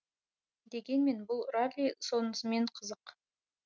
дегенмен бұл ралли сонысымен қызық